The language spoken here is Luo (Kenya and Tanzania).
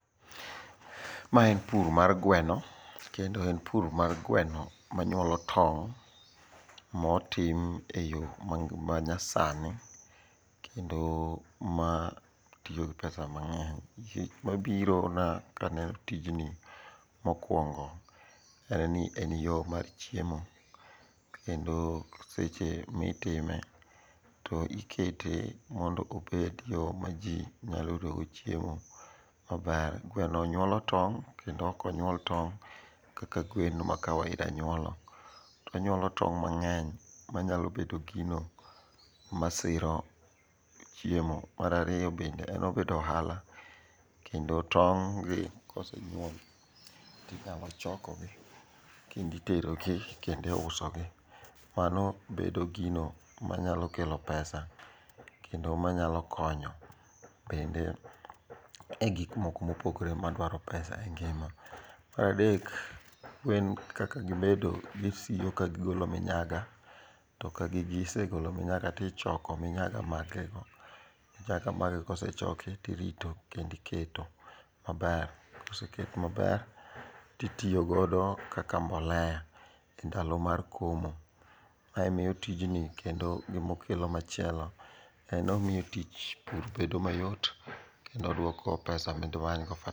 Ma en pur mar gweno, kendo en pur mar gweno manyuolo tong' motim e i yo manyasani kendo matiyo pesa mang'eny. Gima birona kaneno tijni mokwongo en ni, en yo mar chiemo kendo seche mitime to ikete mondo obed yo maji nyalo yudogo chiemo maber. Gweno nyuolo tong' kendo ok onyuol tong' kaka gwen ma kawaida nyuolo, to onyuolo tong' mang'eny manyalo bedo gino masiro chiemo. Mar ariyo bende en obedo ohala kendo tong' gi kosenyuol tinyalo chokogi kenditerogi kendiusogi. Mano bedo gino manyalo kelo pesa kendo manyalo konyo bende e gik moko mopogre madwaro pesa e ngima. Adek, gwen kaka gibedo gisiko ka gigolo minyaga, to ka gisegolo minyaga tichoko minyaga magego nyaka magi kosechoki tirito kendiiketo maber. Koseket maber titiyogodo kaka mbolea e ndalo mar komo. Mae miyo tijni kendo gimokelo machielo en ni omiyo tich pur bedo mayot, kendo oduoko pesa midimanygo fertilizer.